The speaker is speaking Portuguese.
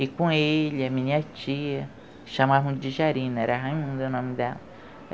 E com ele, a minha tia, chamavam de Jarina, era Raimundo o nome dela.